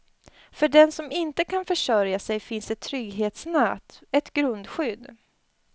För den som inte kan försörja sig finns ett trygghetsnät, ett grundskydd.